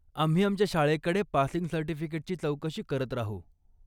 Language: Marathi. आम्ही आमच्या शाळेकडे पासिंग सर्टिफिकेटची चौकशी करत राहू.